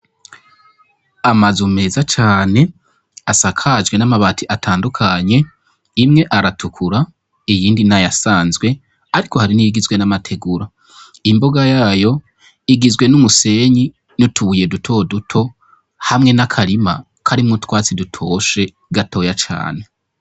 Amazu meza cane asakajwe n'amabati atandukanye, imwe aratukura, iyindi n'ayasanzwe, ariko hari n'igizwe n'amategura, imbuga yayo igizwe n'umusenyi n'utubuye dutoduto, hamwe n'akarima karimwo utwatsi dutoshe gatoya cane.